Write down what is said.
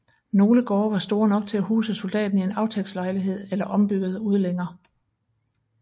Nogle gårde var store nok til at huse soldaten i en aftægtslejlighed eller ombyggede udlænger